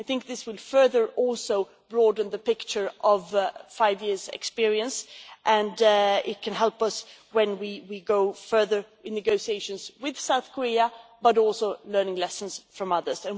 I think this will further broaden the picture of five years' experience and it can help us when we go further in negotiations with South Korea, but also in learning lessons from others.